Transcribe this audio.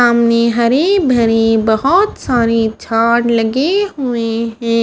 सामने हरी भरी बहोत सारी झाड़ लगे हुए हैं।